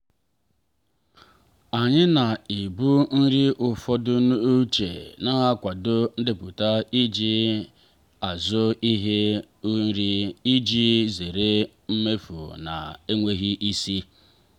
anyị na-ebu nri ụfọdụ n'uche na-akwado ndepụta eji azụ ihe nri iji zere mmefu na-enweghị isi.